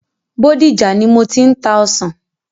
Bódìjà ni mo ti ń ta ọsàn.